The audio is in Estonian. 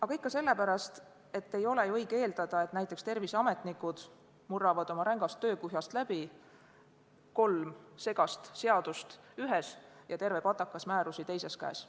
Aga ikka sellepärast, et ei ole õige eeldada, et näiteks terviseametnikud murravad oma rängast töökuhjast läbi, kolm segast seadust ühes ja terve patakas määrusi teises käes.